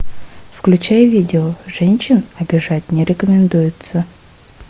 включай видео женщин обижать не рекомендуется